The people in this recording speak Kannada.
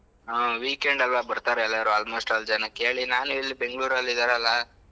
ಹಾ weekend ಅಲ್ಲ ಬರ್ತಾರೆ ಎಲ್ಲರೂ almost all ಜನ ಕೇಳಿ ನಾನ್ ಇಲ್ಲಿ Bangalore ಅಲ್ಲಿ ಇದ್ದಾರಲ್ಲ.